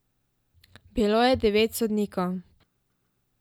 Bilo je devet sodnikov.